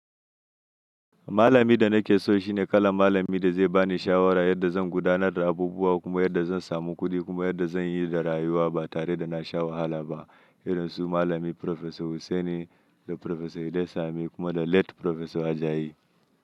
Malami da nake so shine kalan malami da zai bani shawara yadda zan gudanar da abubuwa kuma yadda zan samu kuɗi kuma yadda zanyi da rayuwa ba tare da nasha wahala ba. Irin su malami Professor Hussaini da Professor Iday Sami kuma da late Professor Ajayi.